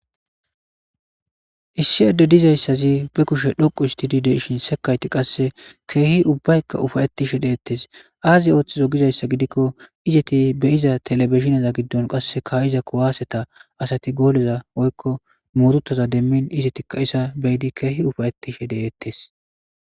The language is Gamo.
Issi edde dizayssazi be kushe dhoqu histidi deshin sekayti qasse keehi ubbaykka ufayettishe deettes aazi ooththizo gizayssa gidikko izeti be iza telebishinaza giddon qasse kayiza kuwaaseta asati gooleza oykko muurutaza demmin izetikka isa beyidi keehi ufayettishe deettes.